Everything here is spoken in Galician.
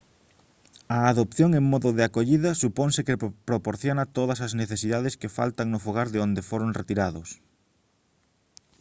a adopción en modo de acollida suponse que proporciona todas as necesidades que faltan no fogar de onde foron retirados